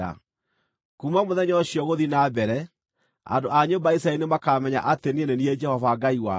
Kuuma mũthenya ũcio gũthiĩ na mbere, andũ a nyũmba ya Isiraeli nĩmakamenya atĩ niĩ nĩ niĩ Jehova Ngai wao.